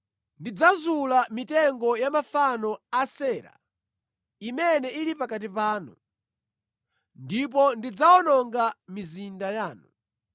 Ndidzazula mitengo ya mafano a Asera imene ili pakati panu, ndipo ndidzawononga mizinda yanu.